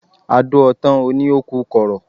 A dó ọ tán, o ni o ku kọrọ